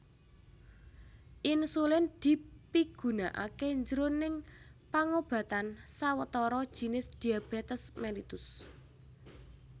Insulin dipigunakaké jroning pangobatan sawetara jinis diabetes mellitus